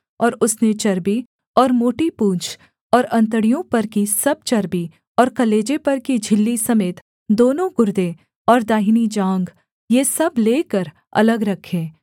और उसने चर्बी और मोटी पूँछ और अंतड़ियों पर की सब चर्बी और कलेजे पर की झिल्ली समेत दोनों गुर्दे और दाहिनी जाँघ ये सब लेकर अलग रखे